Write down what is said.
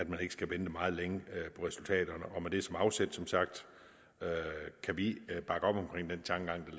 man ikke skal vente meget længe på resultaterne og med det som afsæt som sagt kan vi bakke op om den tankegang